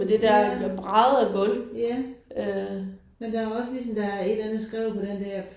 Ja. Ja. Men der er også ligesom der er et eller andet skrevet på den der